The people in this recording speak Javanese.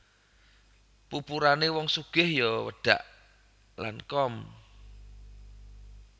Pupurane wong sugih yo wedhak Lancome